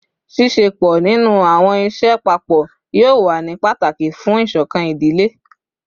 Ṣiṣepọ ninu awọn iṣẹ papọ yoo wa ni pataki fun isokan idile